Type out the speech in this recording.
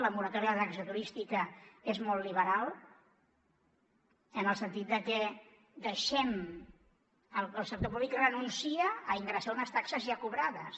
la moratòria de la taxa turística és molt liberal en el sentit de que el sector públic renuncia a ingressar unes taxes ja cobrades